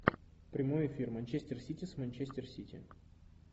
прямой эфир манчестер сити с манчестер сити